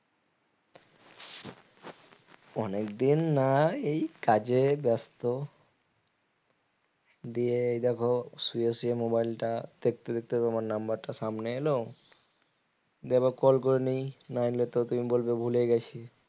অনেকদিন না এই কাজে ব্যস্ত দিয়ে এই দেখো শুয়ে শুয়ে mobile টা দেখতে দেখতে তোমার number টা সামনে এলো দিয়ে একবার call করে নেই নাইলে তো তুমি বলবে ভুলে গেছি